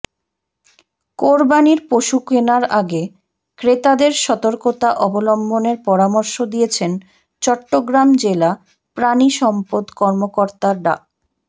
কোরবানির পশু কেনার আগে ক্রেতাদের সতর্কতা অবলম্বনের পরামর্শ দিয়েছেন চট্টগ্রাম জেলা প্রাণিসম্পদ কর্মকর্তা ডা